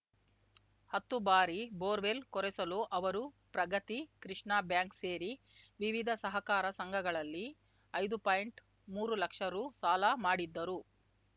ಹತ್ತು ಬಾರಿ ಬೋರ್ವೆಲ್‌ ಕೊರೆಸಲು ಅವರು ಪ್ರಗತಿ ಕೃಷ್ಣಾ ಬ್ಯಾಂಕ್‌ ಸೇರಿ ವಿವಿಧ ಸಹಕಾರ ಸಂಘಗಳಲ್ಲಿ ಐದು ಪಾಯಿಂಟ್ಮೂರು ಲಕ್ಷ ರು ಸಾಲ ಮಾಡಿದ್ದರು